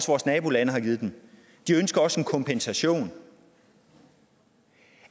vores nabolande har givet de ønsker også en kompensation